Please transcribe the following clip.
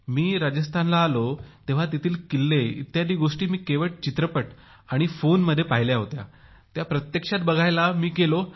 मी राजस्थानला आलो तेव्हा तेथील किल्ले इत्यादी गोष्टी मी केवळ चित्रपटात आणि फोनमध्ये पाहिल्या होत्या त्या प्रत्यक्ष बघायला मी गेलो